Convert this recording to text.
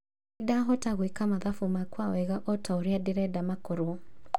Ndinahota gwĩka mathabu makwa wega otaũrĩa nderenda makorwo